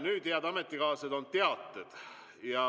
Nüüd, head ametikaaslased, on teated.